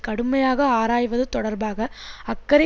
கடுமையாக ஆராய்வது தொடர்பாக அக்கறை